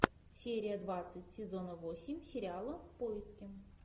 серия двадцать сезона восемь сериала в поиске